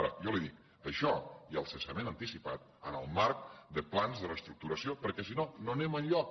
ara jo li dic això i el cessament anticipat en el marc de plans de reestructuració perquè sinó no anem enlloc